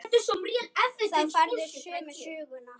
Þá færðu sömu söguna.